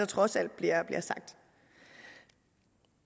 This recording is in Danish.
trods alt bliver sagt